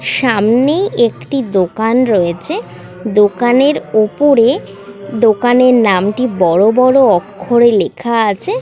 সামনে একটি দোকান রয়েছে দোকানের উপরে দোকানের নামটি বড় বড় অক্ষরে লেখা আছে।